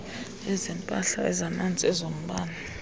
ezempahla ezamanzi ezombane